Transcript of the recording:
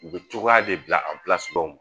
U bɛ cogoya de bila